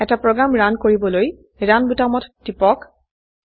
এটা program run কৰিবলৈ run বোতামত টিপক